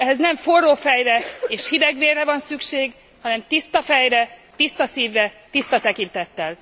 Ehhez nem forró fejre és hidegvérre van szükség, hanem tiszta fejre, tiszta szívre, tiszta tekintettel.